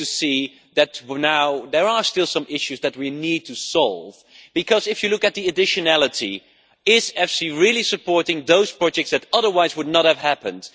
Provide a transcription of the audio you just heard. It is good to see that there are still some issues that we need to solve, because if you look at the additionality, is EFSI really supporting those projects that otherwise would not have happened?